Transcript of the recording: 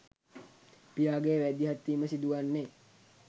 පියාගේ මැදිහත්වීම සිදුවන්නේ